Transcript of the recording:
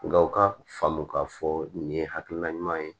Nka u ka faamu k'a fɔ nin ye hakilina ɲuman ye